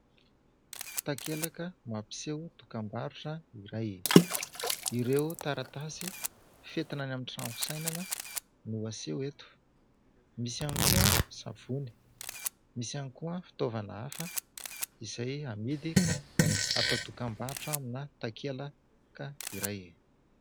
Takelaka mampiseho dokam-barotra iray : ireo taratasy fentina any amin'ny trano fisainana no aseho eto, misy ihany koa ny savony, misy ihany koa ny fitaovana hafa izay amidy ka atao dokam-barotra amina takelaka iray.